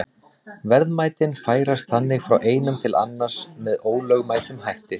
Verðmætin færast þannig frá einum til annars með ólögmætum hætti.